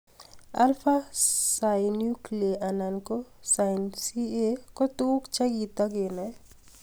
Alpha synuclei anan ko snca ko tukuk chekitai kenoe